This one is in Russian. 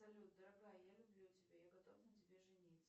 салют дорогая я люблю тебя я готов на тебе жениться